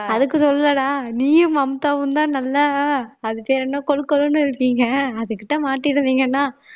அதுக்கு சொல்லலைடா நீயும் மம்தாவும்தான் நல்ல அது பேரு என்ன கொழு கொழுன்னு இருக்கீங்க அதுக்குத்தான் மாட்டிருந்தீங்கன்னா